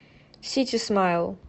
сити смайл